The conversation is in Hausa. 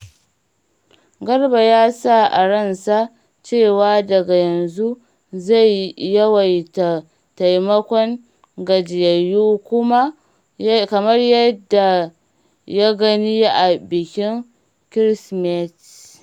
Garba ya sa a ransa cewa daga yanzu zai yawaita taimakon gajiyayyu kamar yadda ya gani a bikin Ƙirsimeti.